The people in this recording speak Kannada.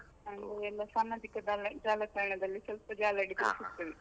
ಆಮೇಲೆ, ಎಲ್ಲ ಸಾಮಾಜಿಕ ಜಾಲತಾಣದಲ್ಲಿ ಸ್ವಲ್ಪ ಜಾಲಾಡಿ .